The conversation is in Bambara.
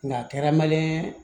Nka kɛra maliyɛn ye